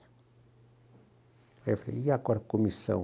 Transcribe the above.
Aí eu falei, e agora comissão?